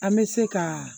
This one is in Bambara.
An bɛ se ka